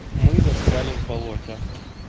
мы застряли в болоте